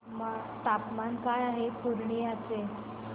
तापमान काय आहे पूर्णिया चे